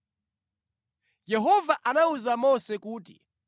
Yehova anawuza Mose kuti,